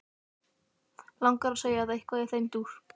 Langar að segja það, eitthvað í þeim dúr.